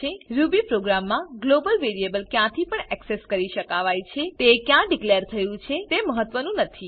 Ruby પ્રોગ્રામમા global variable ક્યાંથી પણ એક્સેસ કરી શકાવાય છેતે ક્યાં ડીકલેર થયું છે તે મ્હ્ત્વ નું નથી